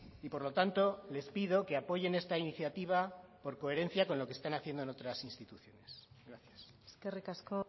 y por lo tanto les pido que apoyen esta iniciativa por coherencia con lo que están haciendo en otras instituciones gracias eskerrik asko